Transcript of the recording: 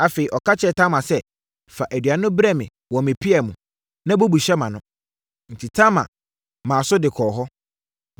Afei, ɔka kyerɛɛ Tamar sɛ, “Fa aduane no brɛ me wɔ me pia mu, na bubu hyɛ mʼano.” Enti, Tamar maa so de kɔɔ hɔ.